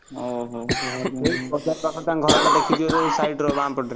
ଓହୋ ସେଇ ବଜାର ପାଖ ତାଙ୍କ ଘର ଟା ଦେଖିଥିବ side ରେ ବାମ ପଟରେ।